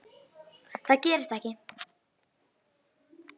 Það gerist ekki.